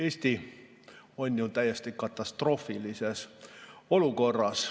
Eesti on ju täiesti katastroofilises olukorras.